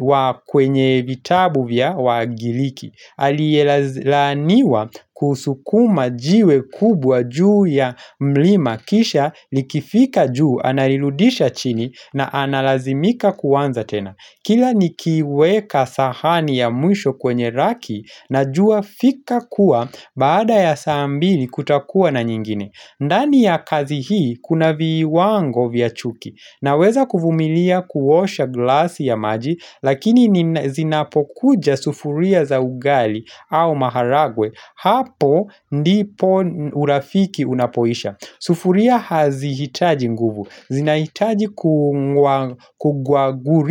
wa kwenye vitabu vya wagiriki Alielaaniwa kusukuma jiwe kubwa juu ya mlima kisha likifika juu analirudisha chini na analazimika kuanza tena Kila nikiweka sahani ya mwisho kwenye raki najua fika kuwa baada ya saa mbili kutakuwa na nyingine ndani ya kazi hii kuna viwango vya chuki Naweza kuvumilia kuosha glasi ya maji lakini zinapokuja sufuria za ugali au maharagwe hapo ndipo urafiki unapoisha. Sufuria hazihitaji nguvu. Zinaitaji kugwaguri.